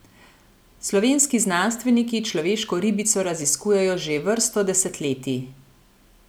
Slovenski znanstveniki človeško ribico raziskujejo že vrsto desetletij.